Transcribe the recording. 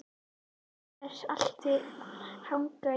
Gangi þér allt í haginn, Jónfríður.